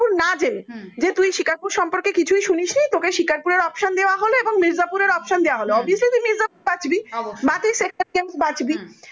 না জেনে যে তুই শিকারপুর সম্পর্কে কিছুই সুনিসনিসনি তোকে শিকারপুরএর option দেয়া হলো এবং মির্জাপুর এর option দেয়া লহো obviously তুই মির্জাপুর বাছবি বা